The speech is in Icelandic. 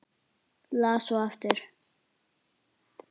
Las svo aftur.